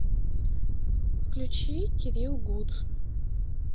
включи кирилл гуд